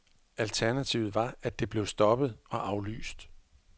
Alternativet var at det blev stoppet og aflyst.